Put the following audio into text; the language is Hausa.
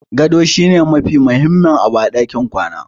Gado shi ne mafi mahimmin abu a ɗakin kwana.